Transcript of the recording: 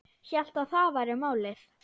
Hélt að það væri málið.